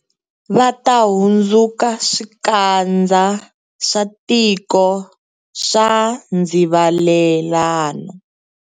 Va ta hundzuka swikandza swa tiko swa ndzivalelano.